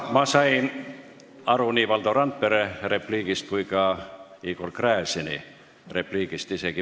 Ma sain isegi mitte eriliselt pingutades aru nii Valdo Randpere kui ka Igor Gräzini repliigist.